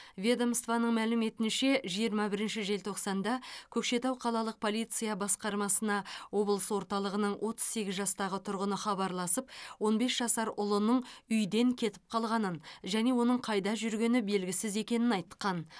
ведомствоның мәліметінше жиырма бірінші желтоқсанда көкшетау қалалық полиция басқармасына облыс орталығының отыз сегіз жастағы тұрғыны хабарласып он бес жасар ұлының үйден кетіп қалғанын және оның қайда жүргені белгісіз екенін айтқан